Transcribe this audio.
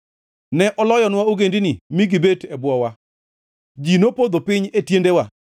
Ne oloyonwa ogendini mi gibet e bwowa, ji nopodho piny e tiendewa.